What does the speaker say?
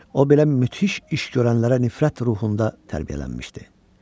O belə möhtəşəm iş görənlərə nifrət ruhunda tərbiyələnmişdi.